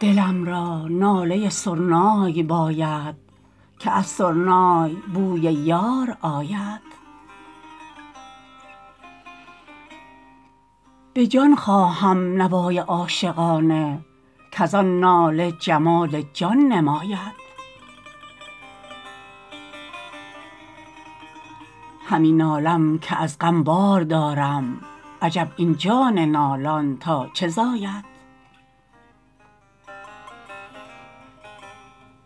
دلم را ناله سرنای باید که از سرنای بوی یار آید به جان خواهم نوای عاشقانه کز آن ناله جمال جان نماید همی نالم که از غم بار دارم عجب این جان نالان تا چه زاید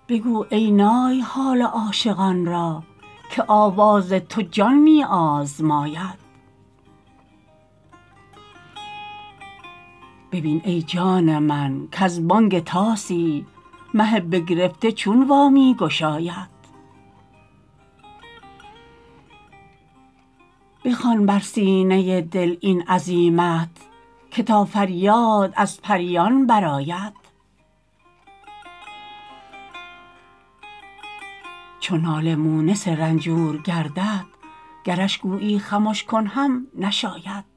بگو ای نای حال عاشقان را که آواز تو جان می آزماید ببین ای جان من کز بانگ طاسی مه بگرفته چون وا می گشاید بخوان بر سینه دل این عزیمت که تا فریاد از پریان برآید چو ناله مونس رنجور گردد گرش گویی خمش کن هم نشاید